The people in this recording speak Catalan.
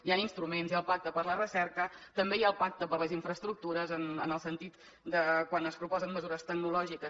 hi han instruments hi ha el pacte per a la recerca també hi ha el pacte per a les infraestructures en el sentit que quan es proposen mesures tecnològiques